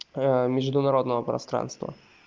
международного пространство